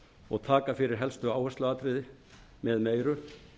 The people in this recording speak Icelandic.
og taka fyrir helstu áhersluatriði með meiru